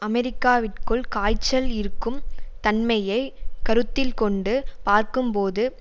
அமெரிக்காவிற்குள் காய்ச்சல் இருக்கும் தன்மையை கருத்தில் கொண்டு பார்க்கும் போது